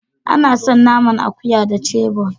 Ana san naman akuya da "chebon".